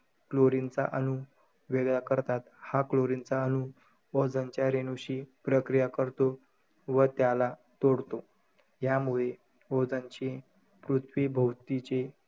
Chlorine चा अणू वेगळा करतात. हा chlorine चा अणू, ओझोनच्या रेणूशी प्रक्रिया करतो व त्याला तोडतो. यामुळे ओझोनचे पृथ्वी भोवतीचे,